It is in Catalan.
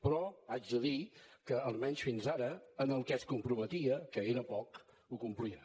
però haig de dir que almenys fins ara en el que es comprometia que era poc ho complia